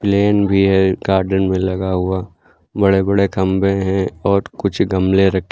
plane भी है garden में लगा हुआ बड़े बड़े खंभे हैं और कुछ गमले रखे--